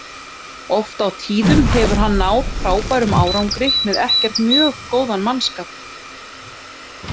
Oft á tíðum hefur hann náð frábærum árangri með ekkert mjög góðan mannskap.